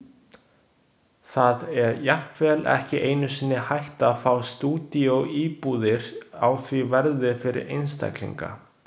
Það er jafnvel ekki einu sinni hægt að fá stúdíóíbúðir á því verði fyrir einstaklinga.